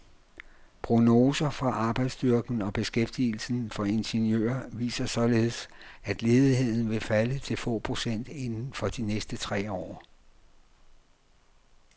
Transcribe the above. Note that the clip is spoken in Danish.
Prognoser for arbejdsstyrken og beskæftigelsen for ingeniører viser således, at ledigheden vil falde til få procent inden for de næste tre år.